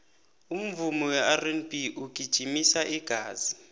umvumo werb ungijimisa igazi